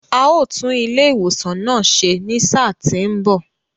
A ó tún ilé ìwòsan náà ṣe ní sáà tí ń bọ̀.